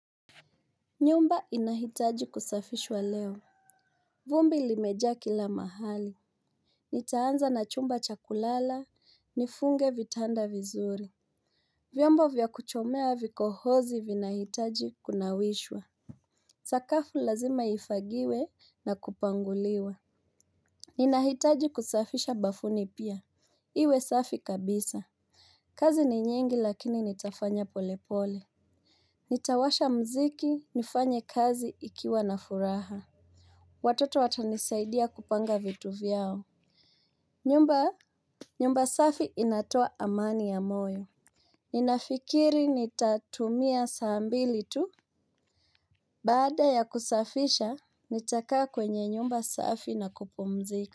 Nyumba inahitaji kusafishwa leo. Vumbi limejaa kila mahali nitaanza na chumba cha kulala nifunge vitada vizuri. Vyombo vya kuchomea vikohozi vinahitaji kunawishwa. Sakafu lazima ifagiwe na kupanguliwa. Ninahitaji kusafisha bafuni pia. Iwe safi kabisa. Kazi ni nyingi lakini nitafanya pole pole. Nitawasha muziki nifanye kazi ikiwa na furaha. Watoto watanisaidia kupanga vitu vyao. Nyumba, nyumba safi inatoa amani ya moyo. Ninafikiri ni tatumia saa mbili tu. Baada ya kusafisha nitakaa kwenye nyumba safi na kupumzika.